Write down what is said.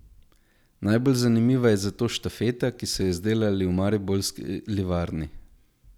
Najbolj zanimiva je zato štafeta, ki so jo izdelali v Mariborski livarni.